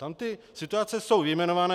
Tam ty situace jsou vyjmenované.